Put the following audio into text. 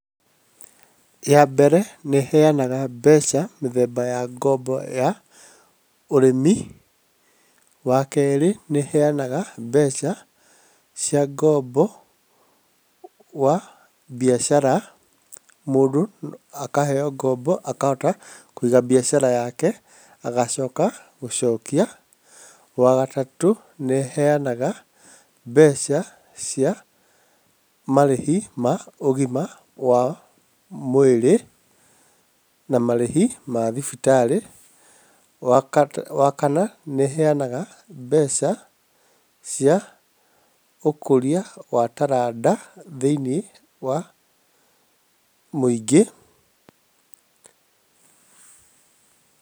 Ya mbere, nĩĩheanaga mbeca mĩthemba ya ngombo ya ũrĩmi. Wakerĩ, nĩheanaga mbeca cia ngombo wa biacara mũndũ no akaheo ngombo akahota kũiga biacara yako agacoka gũcokia. Wagatatũ, nĩĩheanaga mbeca cia marĩhi ma ũgima wa mwĩrĩ na marĩhi ma thibitarĩ. Wa kana, nĩheanaga mbeca cia ũkũria wa taranda thĩinĩ wa mũingĩ.